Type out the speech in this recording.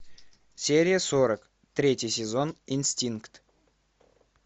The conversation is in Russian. серия сорок третий сезон инстинкт